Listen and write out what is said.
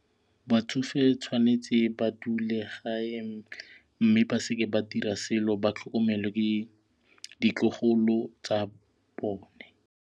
Batsofe tshwanetse ba dule gae mme ba seke ba dira selo ba tlhokomelwe ke ditlogolo tsa bone.